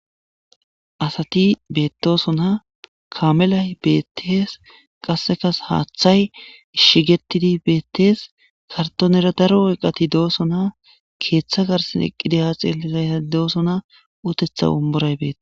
asati bettosona kamelay beettees qassekas haaththay ishigetidi beettees kartonera daro eeqati dooso na keeththa garsin eqqide ha xeelizay doosona utetha ummuray beeta